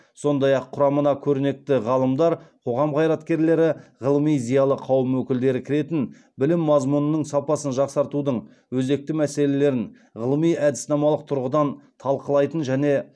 сондай ақ құрамына көрнекті ғалымдар қоғам қайраткерлері ғылыми зиялы қауым өкілдері кіретін білім мазмұнының сапасын жақсартудың өзекті мәселелерін ғылыми әдіснамалық тұрғыдан талқылайтын және